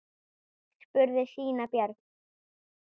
spurði síra Björn.